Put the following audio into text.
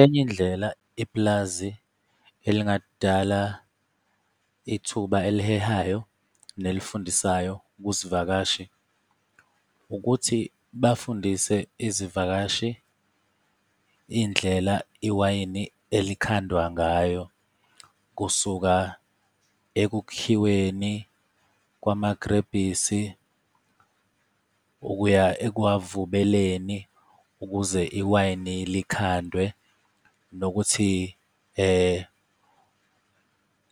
Enye indlela ipulazi elingadala ithuba elihehayo nelifundisayo kwisivakashi, ukuthi bafundise izivakashi indlela iwayini elikhandwa ngayo kusuka ekukhiweni kwamagilebhisi, ukuya ekuwavubeleni ukuze iwayini likhandwe, nokuthi